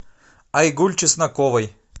айгуль чесноковой